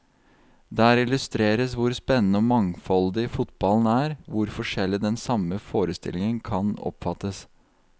Der illustreres hvor spennende og mangfoldig fotballen er, hvor forskjellig den samme forestillingen kan oppfattes.